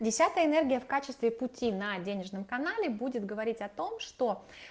десятая энергия в качестве пути на денежном канале будет говорить о том что